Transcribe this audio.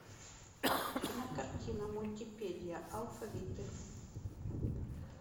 кинокартина мультипедия алфавиты